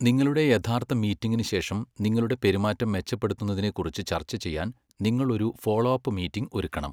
നിങ്ങളുടെ യഥാർത്ഥ മീറ്റിംഗിന് ശേഷം, നിങ്ങളുടെ പെരുമാറ്റം മെച്ചപ്പെടുത്തുന്നതിനെക്കുറിച്ച് ചർച്ച ചെയ്യാൻ നിങ്ങൾ ഒരു ഫോളോ അപ്പ് മീറ്റിംഗ് ഒരുക്കണം.